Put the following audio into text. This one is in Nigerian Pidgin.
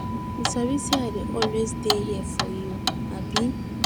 You sabi sey I dey always dey here for you, abi?